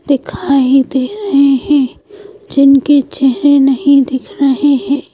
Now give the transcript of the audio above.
दिखाई दे रहे हैं जिनके चेहरे नहीं दिख रहे हैं।